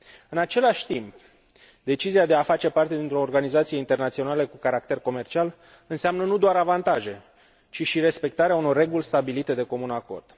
În același timp, decizia de a face parte dintr o organizație internațională cu caracter comercial înseamnă nu doar avantaje, ci și respectarea unor reguli stabilite de comun acord.